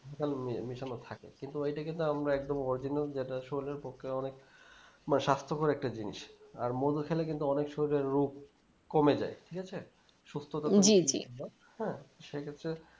মেশানোমেশানো থাকে কিন্তু ওই টাকে তো আমরা একদম original যেটা শরীর এর পক্ষে অনেক বা স্বাস্থকর একটা জিনিস আর মধু খেলে কিন্তু অনেক শরীরের রোগ কমে যাই ঠিক আছে সুস্থতার হ্যাঁ সে ক্ষেত্রে